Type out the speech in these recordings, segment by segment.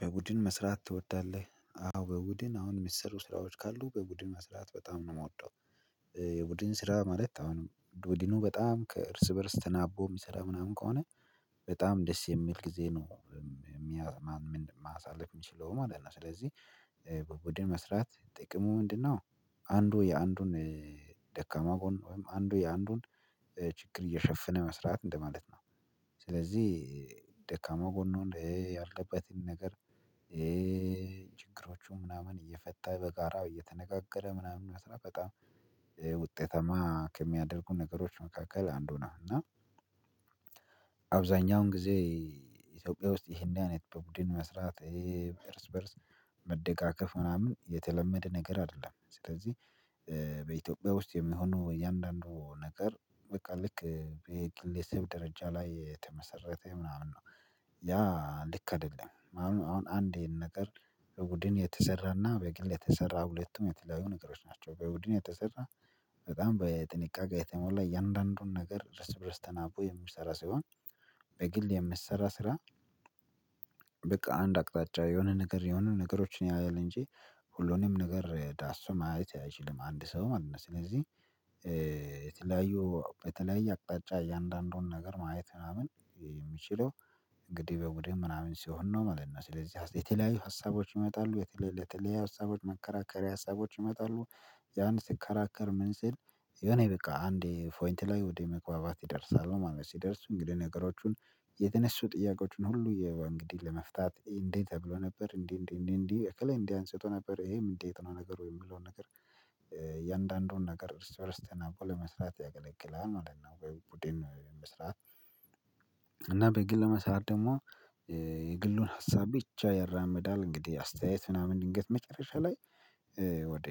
በቡድን መስራት ትወዳለህ? አዎ በቡድን አሁን የሚሰሩ ስራዎች ካሉ በቡድን መስራት በጣም ነው የምወደው የቡድን ስራ ማለት አሁንም ዱዲኑ በጣም ከእርስ በእርስ ተናቦ የሚሰራ ምናምን ከሆነ በጣም ደስ የሚል ጊዜ ነው የሚያሳልፍ የሚችለውም አለ እና ስለዚህ በቡድን መስራት ጥቅሙ ምንድነው አንዱ የአንዱን ደካማ ጎን ወይም አንዱ የአንዱን ችግር እየሸፈነ መስራት እንደማለት ነው ስለዚህ ደካማ ጎኑን ያለበትን ነገር ችግሮቹን ምናምን እየፈታ በጋራ እየተነጋገረ ምናምን በጣም ውጤታማ ከሚያደርጉ ነገሮች መካከል አንዱ ነው እና አብዛኛውን ጊዜ ኢትዮጵያ ውስጥ ይሄን አይነት በቡድን መስራት ይሄ በእርስ በእርስ መደጋገፍ ምናምን የተለመደ ነገር አይደለም ስለዚህ በኢትዮጵያ ውስጥ የሚሆነው እያንዳንዱ ነገር በቃ ልክ የግለሰብ ደረጃ ላይ የተመሰረተ ምናምን ነው ያ ልክ አይደለም አሁን አንዴ ይሄን ነገር በቡድን የተሰራና በግል የተሰራ ሁለቱም የተለያዩ ነገሮች ናቸው በቡድን የተሰራ በጣም በጥንቃቄ የተሞላ እያንዳንዱን ነገር ርስ በርስ ተናቦ የምትሰራ ሳይሆን በግል የምትሰራ ስራ በቃ አንድ አቅጣጫ የሆነ ነገር የሆነ ነገሮችን ያያል እንጂ ሁሉንም ነገር ዳሶ ማየት አይችልም አንድ ሰውም አንድ ነው ስለዚህ የተለያዩ በተለያየ አቅጣጫ የእያንዳንዱን ነገር ማየት ምናምን የሚችለው እንግዲህ በቡድን ምናምን ሲሆን ነው ማለት ነው ስለዚህ የተለያዩ ሀሳቦች ይመጣሉ የተለያዩ ሀሳቦች መከራከሪያ ሀሳቦች ይመጣሉ ያን ስከራከር ምን ሲል የሆነ በቃ አንዴ ፖይንት ላይ ወደ መግባባት ይደርሳሉ ማለት ሲደርሱ እንግዲህ ነገሮቹን የተነሱ ጥያቄዎችን ሁሉ እንግዲህ ለመፍታት እንዴ ተብሎ ነበር እንዴ እንዴ እንዴ እንዴ እከሌ እንዲህ አንስቶ ነበር ይሄም እንዴት ነው ነገር የምለው ነገር የእያንዳንዱን ነገር እርስ በርስ ተናቦ ለመስራት ያገለግላል ማለት ነው ቡድን መስራት በግል መስራት ደግሞ የግሉን ሀሳብ ብቻ ያራመዳል እንግዲህ አስተያየት ምናምን ድንገት መጨረሻ ላይ ወደ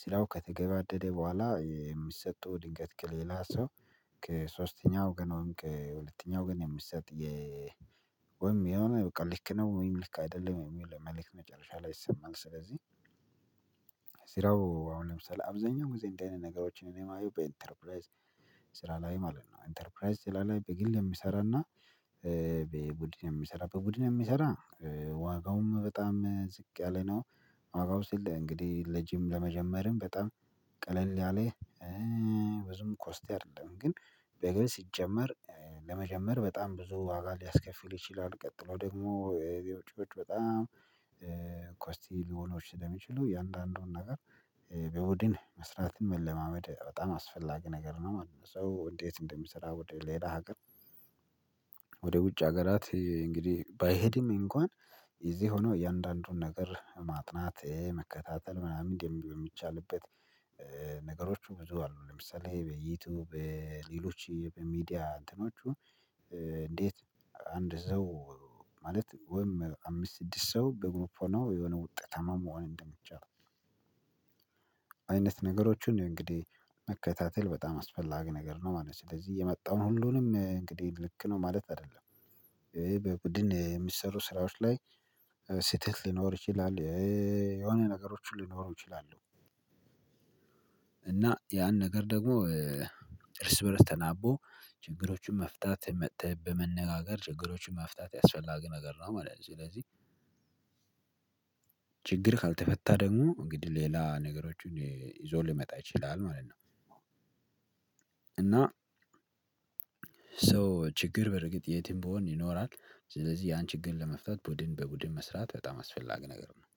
ስራው ከተገባደደ በኋላ የሚሰጡ ድንገት ከሌላ ሰው ከሦስተኛ ወገን ወይም ከሁለተኛ ወገን ነው የሚሰጥ የ ወይም የሆነ በቃ ልክ ነው ወይም ልክ አይደለም ወይም ለመልእክት መጨረሻ ላይ ይሰማል ስለዚህ ስራው አሁን ለምሳሌ አብዛኛው ጊዜን አይነት ነገሮችን እኔም አየሁ በኢንተርፕራይዝ ስራ ላይ ማለት ነው ኢንተርፕራይዝ ስራ ላይ በግል የሚሰራና በቡድን የሚሰራ በቡድን የሚሰራ ዋጋውም በጣም ዝቅ ያለ ነው አዎ ሲል እንግዲህ ለጂም ለመጀመርም በጣም ቀለል ያለ ብዙም ኮስቲ አይደለም ግን በግል ሲጨመር ለመጀመር በጣም ብዙ ዋጋ ሊያስከፍል ይችላል ቀጥሎ ደግሞ ቢወጪዎች በጣም ኮስቲ ሊሆኖች ስለሚችሉ እያንዳንዱን ነገር በቡድን መስራትን መለማመድ በጣም አስፈላጊ ነገር ነው ማለት ነው ሶ እንዴት እንደምሰራ ወደ ሌላ ሀገር ወደ ውጭ ሀገራት እንግዲህ ባይሄድም እንኳን እዚህ ሆኖ የእያንዳንዱን ነገር ማጥናት መከታተል ምናምን ደንቢ የሚቻልበት ነገሮች ብዙ አሉ ለምሳሌ ይሄ በዩቲዩብ ሌሎች በሚዲያ እንትኖቹ እንዴት አንድ ሰው ማለት ወይም አምስት ስድስት ሰው በግሮፎናው የሆነ ውጤት ታማማ መሆን እንደምትችል አይነት ነገሮችን እንግዲህ መከታተል በጣም አስፈላጊ ነገር ነው ማለት ነው ስለዚህ የመጣውን ሁሉንም እንግዲህ ልክ ነው ማለት አይደለም በቡድን የሚሰሩ ስራዎች ላይ ስህተት ሊኖር ይችላል የሆነ ነገሮችን ሊኖሩ ይችላሉ እና ያን ነገር ደግሞ እርስ በእርስ ተናቦ ችግሮቹን መፍታት መተብ በመነጋገር ችግሮቹን መፍታት ያስፈላገ ነገር ነው ማለት ነው ስለዚህ ችግር ካልተፈታ ደግሞ እንግዲህ ሌላ ነገሮችን ይዞ ሊመጣ ይችላል ማለት ነው እና ሶ ችግር በርግጥ የትም ብሆን ይኖራል ስለዚህ ያን ችግር ለመፍታት ቡድን በቡድን መስራት በጣም አስፈላጊ ነገር ነው